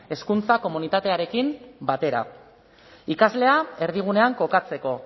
hezkuntza komunitate guztiarekin batera ikaslea erdigunean kokatzeko